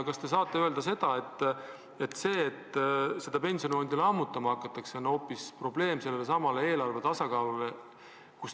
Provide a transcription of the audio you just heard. Kas te saate öelda, et pensionifondi lammutamine pole mõeldud hoopis selleks, et lahendada eelarve tasakaalu probleemi?